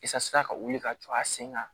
Isa ka wuli ka jɔ a sen kan